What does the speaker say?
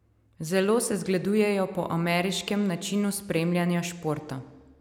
Zelo se zgledujejo po ameriškem načinu spremljanja športa.